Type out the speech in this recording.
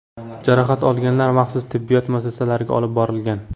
Jarohat olganlar maxsus tibbiyot muassasasiga olib borilgan.